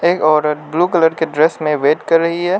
एक औरत blue colour की ड्रेस में वेट कर रही है।